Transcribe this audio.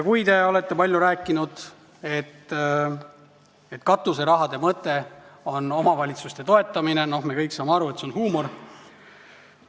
Te olete palju rääkinud, et katuserahade mõte on omavalitsuste toetamine, aga me kõik saame aru, et see on huumor.